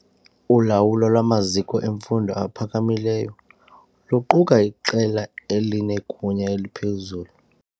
Ulawulo lwamaziko emfundo ephakamileyo luquka iqela elinegunya eliphezulu.